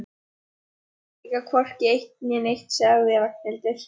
Ég predika hvorki eitt né neitt sagði Ragnhildur.